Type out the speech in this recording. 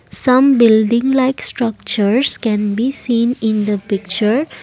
some building like structures can be seen in the picture.